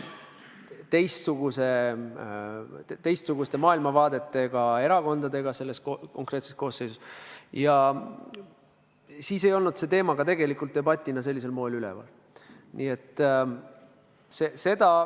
Teistsuguste maailmavaadetega erakonnad olid selles konkreetses koosseisus ja siis ei olnud see teema ka debatina sellisel moel üleval.